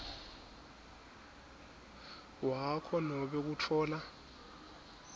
wakho nobe kutfola